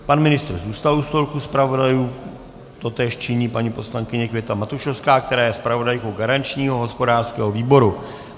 Pan ministr zůstal u stolku zpravodajů, totéž činí paní poslankyně Květa Matušovská, která je zpravodajkou garančního hospodářského výboru.